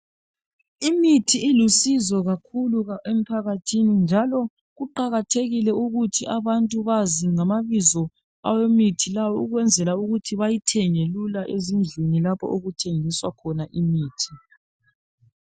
Imithi ilusizo kakhulu emphakathini njalo kuqakathekile ukuthi abantu bazi ngamabizo awemithi lawa ukwenzela ukuthi bayithenge lula ezindlini lapho okuthengiswa khona imithi.